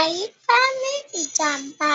àyíká ní ìjàm̀bá